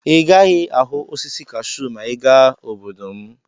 Ị gaghị ahụ osisi kashuu ma ị gaa obodo m.